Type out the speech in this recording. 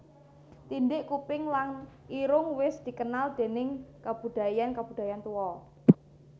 Tindhik kuping lan irung wis dikenal déning kabudayan kabudayan tuwa